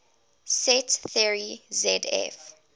set theory zf